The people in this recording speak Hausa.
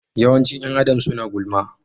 Yawancin ’yan Adam suna gulma.